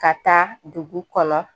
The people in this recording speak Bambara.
Ka taa dugu kɔnɔ